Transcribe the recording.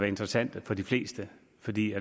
interessante for de fleste fordi